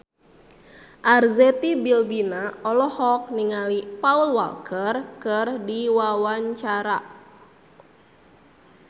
Arzetti Bilbina olohok ningali Paul Walker keur diwawancara